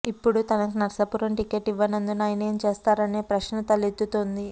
ఇప్పుడు తనకు నర్సాపురం టిక్కెట్ ఇవ్వనందున ఆయన ఏం చేస్తారనే ప్రశ్న తలెత్తుతోంది